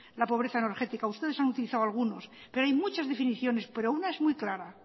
la pobreza energética ustedes han utilizado algunos pero hay muchas definiciones pero una es muy clara